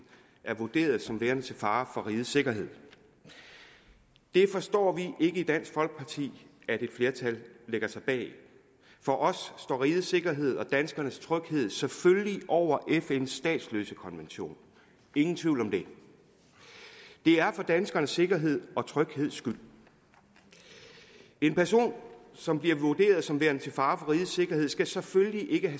er vurderet som værende til fare for rigets sikkerhed det forstår vi ikke i dansk folkeparti at et flertal lægger sig bag for os står rigets sikkerhed og danskernes tryghed selvfølgelig over fns statsløsekonvention ingen tvivl om det det er for danskernes sikkerhed og trygheds skyld en person som bliver vurderet som værende til fare for rigets sikkerhed skal selvfølgelig ikke